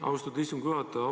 Austatud istungi juhataja!